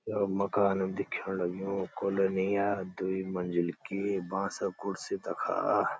यो मकानं दिख्यण लग्युं कोलोनी या द्वि मंजिल की बांसा कुर्सी तखा।